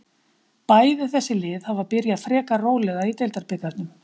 Bæði þessi lið hafa byrjað frekar rólega í deildabikarnum.